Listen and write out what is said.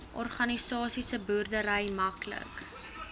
organiese boerdery maklik